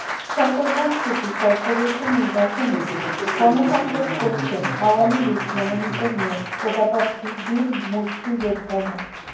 Chittagong city corporation নির্বাচনে গণসংযোগ করছেন আওয়ামী লীগ মনোনীত মেয়র পদপ্রার্থী বীর মুক্তিযোদ্ধা মো